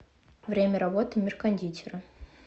время работы мир кондитера